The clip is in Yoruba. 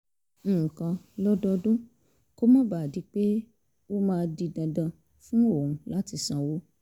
nǹkan lọ́dọọdún kó má bàa di pé ó máa di dandan fún òun láti sanwó